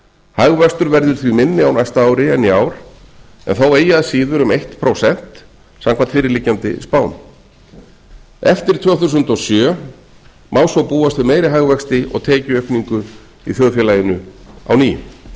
hagvöxtur verður því minni á næsta ári en í ár en þó eigi að síður um eitt prósent samkvæmt fyrirliggjandi spám eftir tvö þúsund og sjö má svo búast við meiri hagvexti og tekjuaukningu í þjóðfélaginu á ný